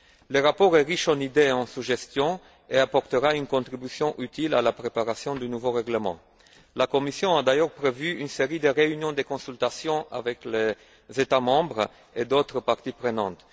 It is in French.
Le rapport est riche en idées et en suggestions et apportera une contribution utile à la préparation du nouveau règlement. La Commission a d'ailleurs prévu une série de réunions de consultation avec les États membres et d'autres parties prenantes.